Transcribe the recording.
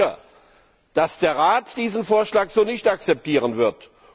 Ich bin sicher, dass der Rat diesen Vorschlag so nicht akzeptieren wird.